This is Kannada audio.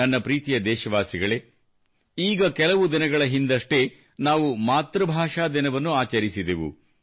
ನನ್ನ ಪ್ರೀತಿಯ ದೇಶವಾಸಿಗಳೇ ಈಗ ಕೆಲವು ದಿನಗಳ ಹಿಂದಷ್ಟೇ ನಾವು ಮಾತೃಭಾಷಾ ದಿನವನ್ನು ಆಚರಿಸಿದೆವು